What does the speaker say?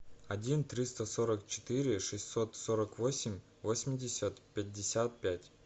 один триста сорок четыре шестьсот сорок восемь восемьдесят пятьдесят пять